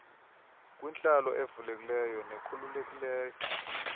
kwintlalo evulekileyo nekhululekileyo